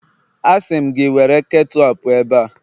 Asị m gị, were ketu a pụọ ebe a!